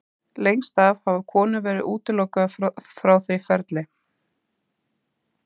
lengst af hafa konur verið útilokaðar frá því ferli